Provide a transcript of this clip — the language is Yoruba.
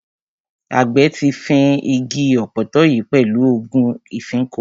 Àgbẹ̀ ti fín igi ọ̀pọ̀tọ́ yìí pẹ̀lú ògùn ìfínko.